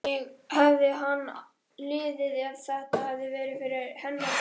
Hvernig hefði henni liðið ef þetta hefði verið hennar barn?